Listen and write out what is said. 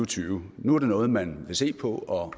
tyve nu er det noget man vil se på og